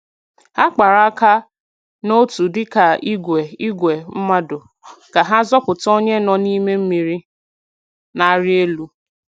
Ha kpara aka n’otu dịka ìgwè ìgwè mmadụ ka ha zọpụta onye nọ n’ime mmiri na-arị elu.